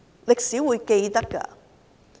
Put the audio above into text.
歷史是會記得的。